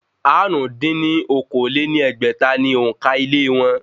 Àrún dín ní okòó-lé-ní-ẹgbẹ́ta ni òǹkà ilé wọn